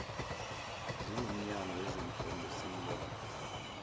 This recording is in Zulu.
singumnyango wezemfundo sibone